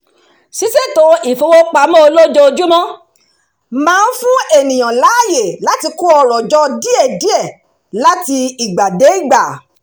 ṣíṣètò ìfowópamọ́ olójoojúmọ́ máa ń fún ènìyàn láàyè láti kó ọrọ̀ jọ díẹ̀díẹ̀ láti ìgbàdégbà